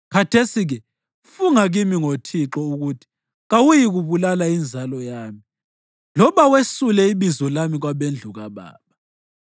Khathesi-ke funga kimi ngo Thixo ukuthi kawuyikubulala inzalo yami loba wesule ibizo lami kwabendlu kababa.”